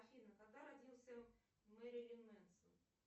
афина когда родился мерилин менсон